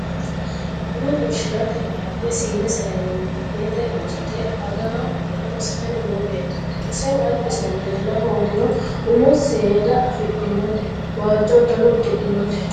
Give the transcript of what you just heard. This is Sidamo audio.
Buna xorrishshitara balaxxe siine saayinete woritte aggahura massitani noo beetoti isehu alibisenno leella hooggiro ummo seeda afidhinote waajjo uddanono udidhinnote